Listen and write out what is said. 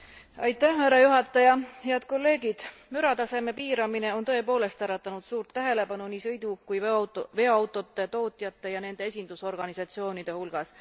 Austatud juhataja, head kolleegid! Mürataseme piiramine on tõepoolest äratanud suurt tähelepanu nii sõidu kui ka veoautode tootjate ja nende esindusorganisatsioonide hulgas.